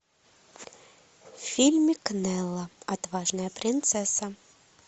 фильмик нелла отважная принцесса